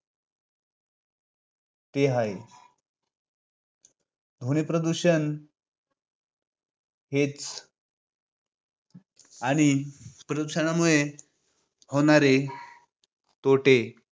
हे हाये. ध्वनी प्रदूषण हेच आणि प्रदूषणामुळे होणारे तोटे